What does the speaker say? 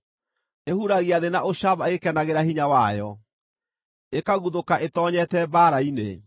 Ĩhuragia thĩ na ũcamba ĩgĩkenagĩra hinya wayo, ĩkaguthũka ĩtoonyete mbaara-inĩ.